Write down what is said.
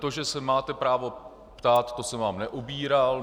To, že se máte právo ptát, to jsem vám neubíral.